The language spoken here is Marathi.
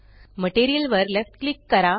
मटीरियल वर लेफ्ट क्लिक करा